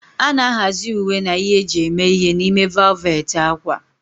A na-ahazi uwe na ihe eji eme ihe n'ime valet ákwà.